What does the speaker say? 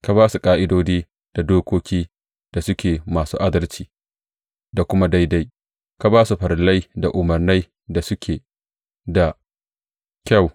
Ka ba su ƙa’idodi da dokokin da suke masu adalci da kuma daidai, ka ba su farillai da umarnai da suke da kyau.